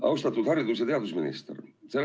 Austatud haridus- ja teadusminister!